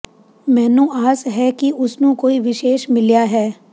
ਮੈਨੂੰ ਆਸ ਹੈ ਕਿ ਉਸ ਨੂੰ ਕੋਈ ਵਿਸ਼ੇਸ਼ ਮਿਲਿਆ ਹੈ